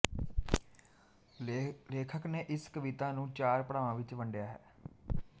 ਲੇਖਕ ਨੇ ਇਸ ਕਵਿਤਾ ਨੰੂ ਚਾਰ ਪੜਾਵਾਂ ਵਿੱਚ ਵੰਡਿਆ ਹੈ